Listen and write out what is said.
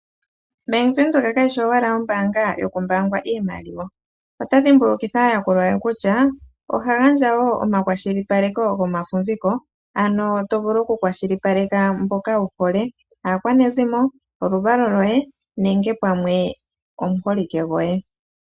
Bank Windhoek keshi owala ombaanga yoku mbaangwa iimaliwa. Ota dhimbukitha aayakulwa ye kutya, oha gandja wo omakwashilipaleko gomafumviko, ano to vulu oku kwashilipaleke mboka wu hole. Aakwanezimo, oluvalo lwoye nenge pamwe omuholike gwoye.